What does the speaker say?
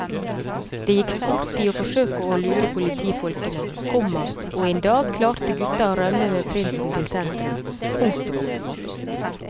Det gikk sport i å forsøke å lure politifolkene, komma og en dag klarte gutta å rømme med prinsen til sentrum. punktum